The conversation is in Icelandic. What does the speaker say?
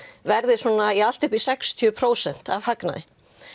verði allt upp í sextíu prósent af hagnaði